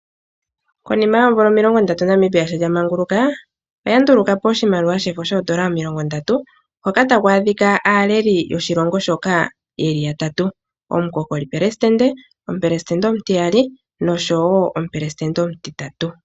Konima yoomvula omilongondatu Namibia sho lya manguluka oya nduluka po oshimaliwa shefo shoN$30 hoka taku adhika aaleli yoshilongo shoka yeli yatatu; omukokoli pelesitende, omupelesitende omutiyali nosho wo omupelesitende omutitatu.